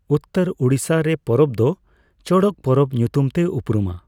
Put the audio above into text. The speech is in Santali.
ᱩᱛᱛᱚᱨ ᱩᱲᱤᱥᱥᱟᱨᱮ ᱯᱚᱨᱚᱵᱽ ᱫᱚ ᱪᱚᱲᱚᱠ ᱯᱚᱨᱵᱚ ᱧᱩᱛᱩᱢᱛᱮ ᱩᱯᱨᱩᱢᱟ ᱾